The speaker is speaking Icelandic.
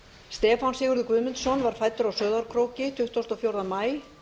stefán sigurður guðmundsson var fæddur á sauðárkróki tuttugasta og fjórða maí